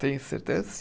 Tem certeza?